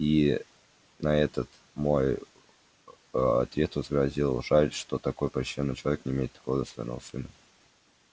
и на этот мой ответ возразил жаль что такой почтённый человек не имеет такого достойного сына